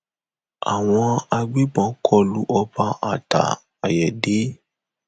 ṣọọṣì lpẹyẹmi àtiyayá ẹ ń lò táwọn ajìnígbé fi já a a gbà mọ ọn lọwọ nìbàdàn